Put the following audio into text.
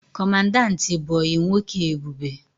Kọmandanti bụ ọyị nwoke Ebube